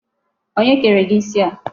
Onye kere gị isi a?